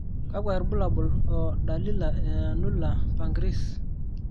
kakwa irbulabol o dalili e Annular pancreas?